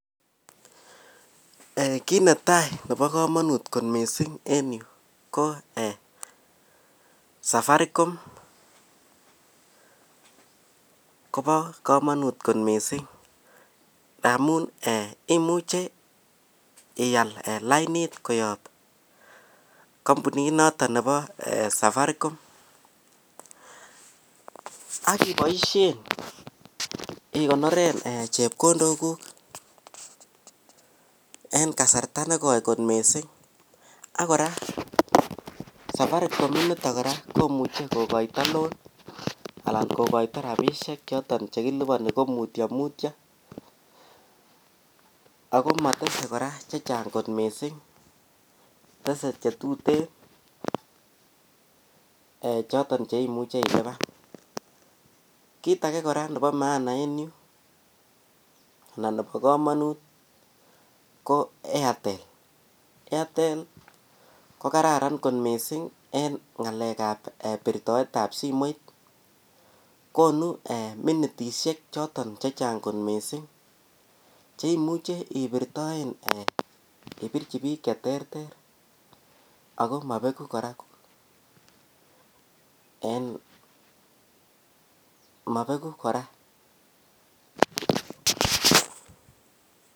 Kiit netai nebo komonut en yu ko Safaricom kobo komonut kot missing ngamun imuche iyal laini koyob kompunit noton nebo Safaricom akiboisien igonoren chebkondokuk en kasarta negoi kot missing ak kora Safaricom initon komuche kogoito loan ana rabisiek choton chekiliponi komutyo mutyo ako matase kora chechang' missing, tese chetuten cheimuche ilipan, kiit age kora nebo maana anan nebo komonut ko Airtel, Airtel kokararan missing en ng'alekab birtoet ab simoit, konu minitiek chechang' kot missing cheimuche ibirchi biik cheterter ako mobegu kora .